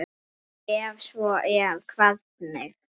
Ef svo er, hvernig?